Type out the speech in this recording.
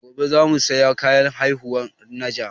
Gobe za mu saya kayan haihuwan najah